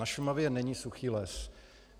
Na Šumavě není suchý les.